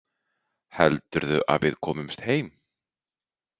Heldurðu að við komumst heim?